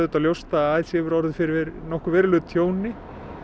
ljóst að ALC hefur orðið fyrir nokkuð verulegu tjóni